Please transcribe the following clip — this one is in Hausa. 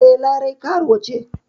E, Larai har yanzu karuwa ce.